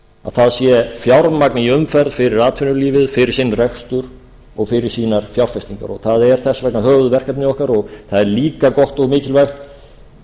það sé fjármagn í umferð fyrir atvinnulífið fyrir sinn rekstur og fyrir sínar fjárfestingar og það er þess vegna höfuðverkefni okkar og það er líka gott og mikilvægt